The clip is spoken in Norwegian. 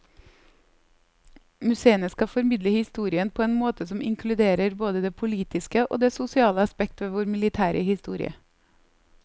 Museene skal formidle historien på en måte som inkluderer både det politiske og det sosiale aspekt ved vår militære historie.